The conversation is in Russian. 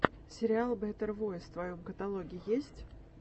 сериал бэтэр войс в твоем каталоге есть